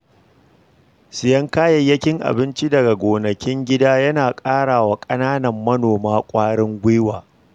Siyen kayayyakin abinci daga gonakin gida yana ba wa ƙananan manoma kwarin gwiwa.